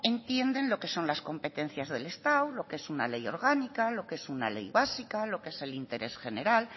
entienden lo que son las competencias del estado lo que es una ley orgánica lo que es una ley básica lo que es interés general